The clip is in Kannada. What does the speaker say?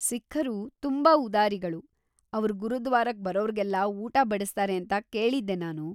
ಸಿಖ್ಖ್‌ರು ತುಂಬಾ ಉದಾರಿಗಳು, ಅವ್ರ್‌ ಗುರುದ್ವಾರಕ್ ಬರೋರ್ಗೆಲ್ಲ ಊಟ ಬಡಿಸ್ತಾರೆ ಅಂತ ಕೇಳಿದ್ದೆ ನಾನು.